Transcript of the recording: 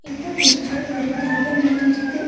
இந்த பிச்சர் ஒரு கார்டன் மாரி இருக்கு.